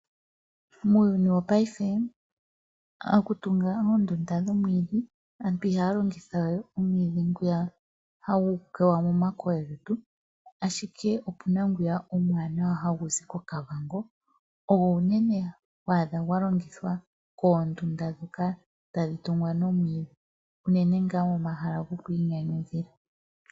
Muuyuni wongashishingeyi, aantu ihaya kumbu we oonduda noomwiidhi ndhoka hadhi muwa momadhiya, ashike ohaya longitha ngwiyaka omuwanawa hagu zi koKavango. Omwiidhi nguka ogo nee to adha unene gwa kumbithwa oondunda dhoomwiidhi, uunene tuu ndhoka dhi li pomahala gokwiinyanyudha.